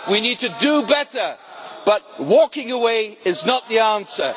ways. We need to do better, but walking away is not the answer.